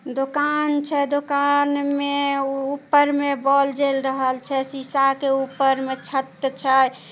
दोकान छै दोकान में ऊपर में बोल जेल रहल छै। शीशा के ऊपर में छत छै।